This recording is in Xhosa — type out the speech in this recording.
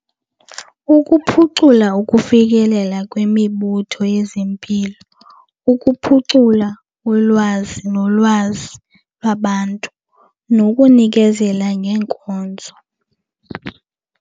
Ukuphucula ukufikelela kwimibutho yezempilo, ukuphucula ulwazi nolwazi babantu nokunikezela ngeenkonzo.